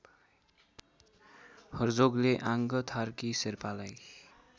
हर्जोगले आङ्गथार्की शेर्पालाई